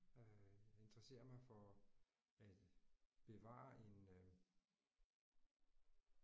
Øh interesserer mig for at bevare en øh